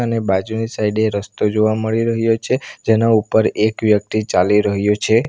ને બાજુની સાઈડ એ રસ્તો જોવા મળી રહ્યો છે જેના ઉપર એક વ્યક્તિ ચાલી રહ્યો છે.